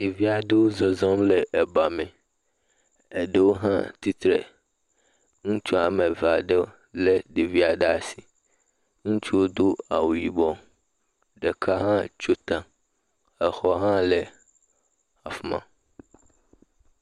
Ɖevi aɖewo zɔzɔm le eba me. Eɖewo hã tsitre. Ŋutsu woa me eve aɖewo le ɖevia ɖe asi. Ŋutsua do awu yibɔ, ɖeka tso ta, exɔ hã le afima.